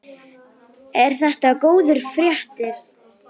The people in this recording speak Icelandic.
Eru þetta góðar fréttir?